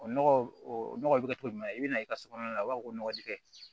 O nɔgɔ o nɔgɔ bɛ kɛ cogo jumɛn i bɛna i ka so kɔnɔna la u b'a fɔ ko nɔgɔji kɛ